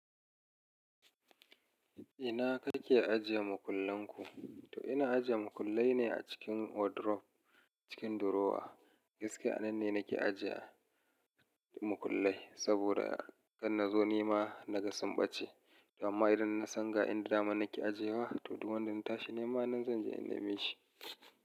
Ina kake ajiye makullenku? To ina ajiye makullai ne a cikin wardrobe cikin durowa. Fis ka'annane nake ajiye makullai saboda gan nazo nema nagasunɓace. Amma idan na san ga inda dama nake ajiyewa, to duk wanda na tashi nema zan je in nemi shi.